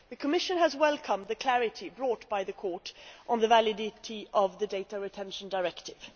The Commission has welcomed the clarity brought by the Court on the validity of the Data Retention Directive.